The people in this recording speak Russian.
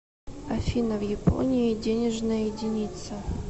афина в японии денежная единица